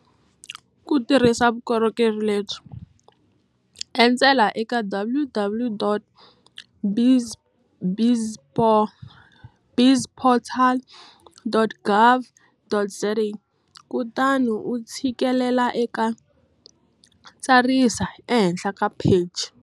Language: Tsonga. Ku tirhisa vukorhokeri lebyi, endzela eka www.bizportal.gov.za kutani u tshikelela eka tsarisa ehenhla ka pheji.